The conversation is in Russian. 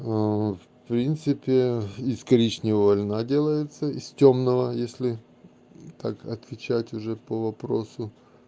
в принципе из коричневого льна делается из тёмного если так отвечать уже по вопросу